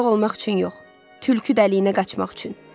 Uzaq olmaq üçün yox, tülkü dəliyinə qaçmaq üçün.